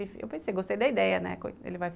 Eu pensei, gostei da ideia, né? ele vai